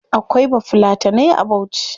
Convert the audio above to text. Akwai bafulatanai a bauchi